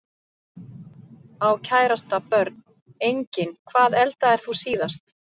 Á kærasta Börn: Engin Hvað eldaðir þú síðast?